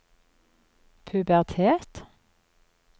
pubertet